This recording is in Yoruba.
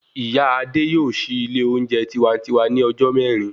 Ìyá Adé yóò sì ilé oúnjẹ tiwantiwa ní ọjọ́ mẹ́rin